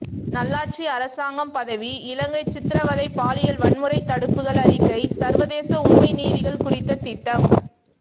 நல்லாட்சி அரசாங்கம் பதவி இலங்கை சித்திரவதை பாலியல் வன்முறை தடுப்புகள் அறிக்கை சர்வதேச உண்மை நீதிகள் குறித்த திட்டம்